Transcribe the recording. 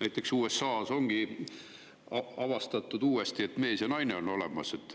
Näiteks USA-s on uuesti avastatud, et on olemas mees ja naine,